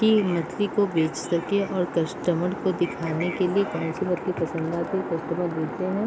की मछली को बेच सके और कस्टमर को दिखाने के लिए कौन सी मछली पसंद आती है कस्टमर लेते हैं |